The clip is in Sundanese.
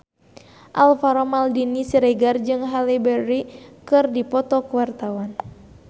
Alvaro Maldini Siregar jeung Halle Berry keur dipoto ku wartawan